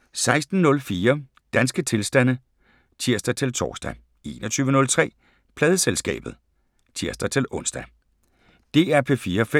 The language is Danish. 16:04: Danske tilstande (tir-tor) 21:03: Pladeselskabet (tir-ons)